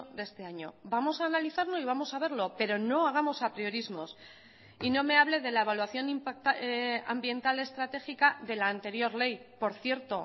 de este año vamos a analizarlo y vamos a verlo pero no hagamos apriorismos y no me hable de la evaluación ambiental estratégica de la anterior ley por cierto